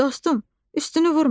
Dostum, üstünü vurma.